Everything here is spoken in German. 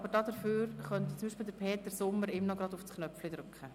Peter Sommer könnte für ihn noch den Anmeldeknopf drücken.